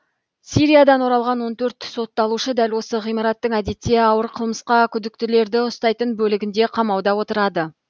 сириядан оралған он төрт сотталушы дәл осы ғимараттың әдетте ауыр қылмысқа күдіктілерді ұстайтын бөлігінде қамауда отырады